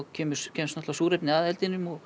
kemst náttúrlega súrefni að eldinum og